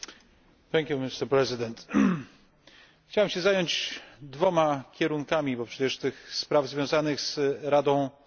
Chciałem się zająć dwoma kierunkami, bo przecież tych spraw związanych z Radą Praw Człowieka Narodów Zjednoczonych jest wiele.